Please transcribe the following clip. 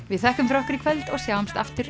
við þökkum fyrir okkur í kvöld og sjáumst aftur